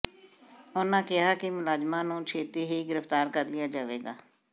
ਉਨ੍ਹਾਂ ਕਿਹਾ ਕਿ ਮੁਲਜ਼ਮਾਂ ਨੂੰ ਛੇਤੀ ਹੀ ਗ੍ਰਿਫ਼ਤਾਰ ਕਰ ਲਿਆ ਜਾਵੇਗਾ